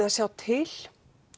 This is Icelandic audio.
að sjá til